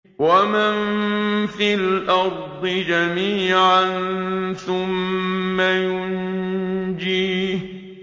وَمَن فِي الْأَرْضِ جَمِيعًا ثُمَّ يُنجِيهِ